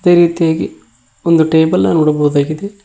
ಈ ರೀತಿಯಾಗಿ ಒಂದು ಟೇಬಲ್ ನ ನೋಡಬಹುದಾಗಿದೆ.